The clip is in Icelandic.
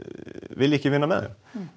vilji ekki vinna með þeim